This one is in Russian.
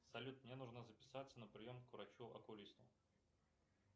салют мне нужно записаться на прием к врачу окулисту